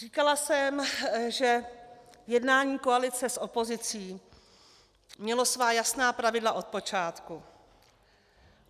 Říkala jsem, že jednání koalice s opozicí mělo svá jasná pravidla od počátku.